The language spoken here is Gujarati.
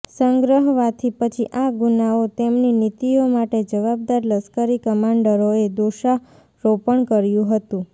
સંગ્રહવાથી પછી આ ગુનાઓ તેમની નીતિઓ માટે જવાબદાર લશ્કરી કમાન્ડરોએ દોષારોપણ કર્યું હતું